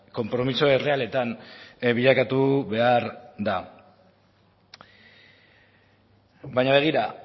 konpromiso errealetan bilakatu behar da baina begira